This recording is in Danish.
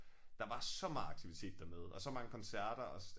Der var så meget aktivitet dernede og så mange koncerter også